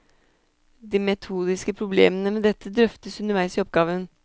De metodiske problemene med dette drøftes underveis i oppgaven.